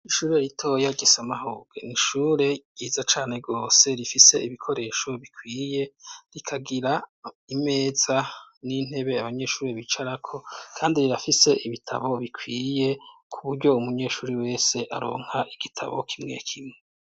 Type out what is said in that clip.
ishure ritoya gisamahubwe nishure ryiza cane rwose, rifise ibikoresho bikwiye, rikagira imeza n'intebe abanyeshuri bicarako. kandi rirafise ibitabo bikwiye, kuburyo umunyeshuri wese aronka igitabo kimwe kimwe.